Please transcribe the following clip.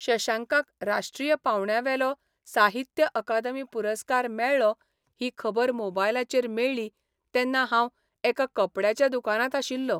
शशांकाक राष्ट्रीय पावंड्यावेलो साहित्य अकादमी पुरस्कार मेळ्ळो ही खबर मोबायलाचेर मेळ्ळी तेन्ना हांव एका कपड्याच्या दुकानांत आशिल्लों.